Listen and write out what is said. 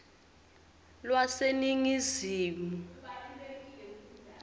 lwaseningizimu